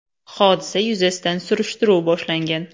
Hodisa yuzasidan surishtiruv boshlangan.